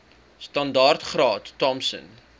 standaard graad thompson